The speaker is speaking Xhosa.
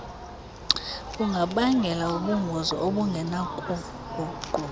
bungabangela ubungozi obungenakuguqulwa